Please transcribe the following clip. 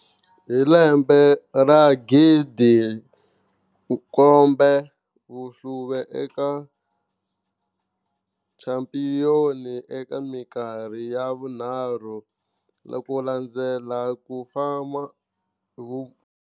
Hi lembe ra 2017, va hlule eka Championship eka minkarhi ya vunharhu, na ku landzela ku fama.